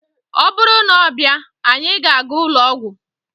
ọ bụrụ na ọ bịa, anyị ga-aga ụlọ ọgwụ